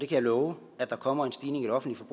kan love at der kommer en stigning i det offentlige